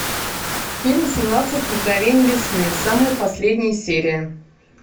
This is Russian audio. фильм семнадцать мгновений весны самая последняя серия